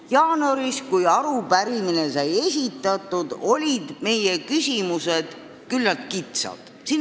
Jaanuaris, kui arupärimine sai esitatud, olid meie küsimused küllaltki kitsad.